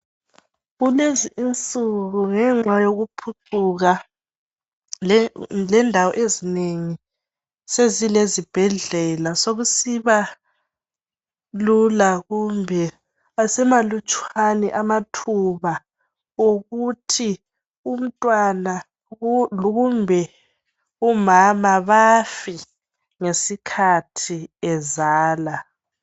Kulezinsuku ngenxa yokuphucuka lendawo ezinengi zezilezibhedlela sekusiba lula kumbe asemalutshwane amathuba okuthi umntwana kumbe umama bafe ngesikhathi ebeletha.